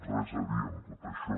res a dir en tot això